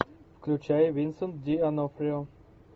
включай винсент ди онофрио